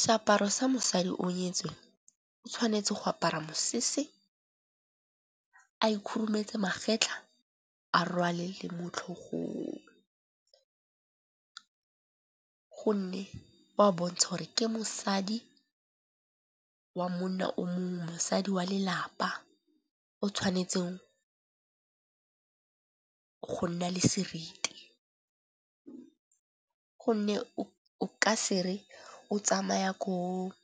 Seaparo sa mosadi o nyetsweng o tshwanetse go apara mosese, a ikhurumetse magetlha, a rwale le motlhogong. Gonne wa bontsha gore ke mosadi wa monna o mong, mosadi wa lelapa o tshwanetseng go nna le seriti, gonne o ka se re o tsamaya ko